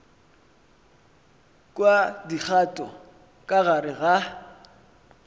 kwa dikgato ka gare ga